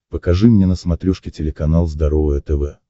покажи мне на смотрешке телеканал здоровое тв